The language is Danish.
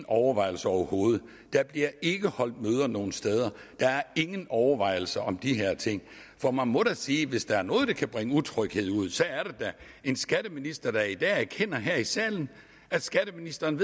overvejelser overhovedet der bliver ikke holdt møder nogen steder der er ingen overvejelser om de her ting for man må da sige at hvis der er noget der kan bringe utryghed ud så er det da en skatteminister der i dag erkender her i salen at skatteministeren